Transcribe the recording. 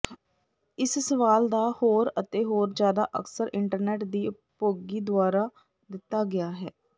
ਇਸ ਸਵਾਲ ਦਾ ਹੋਰ ਅਤੇ ਹੋਰ ਜਿਆਦਾ ਅਕਸਰ ਇੰਟਰਨੈੱਟ ਦੀ ਉਪਭੋਗੀ ਦੁਆਰਾ ਦਿੱਤਾ ਗਿਆ ਹੈ